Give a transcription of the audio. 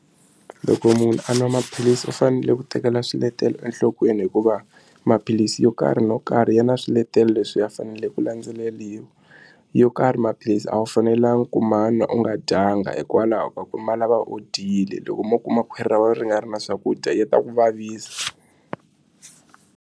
Loko munhu a nwa maphilisi u fanele ku tekela swiletelo enhlokweni hikuva maphilisi yo karhi no karhi ya na swiletelo leswi a faneleke ku landzeleriwa yo karhi maphilisi a wu fanelanga ku ma nwa u nga dyanga hikwalaho ka ku ma lava wo dyile loko mo kuma khwiri ra wena ri nga ri na swakudya ya ta ku vavisa.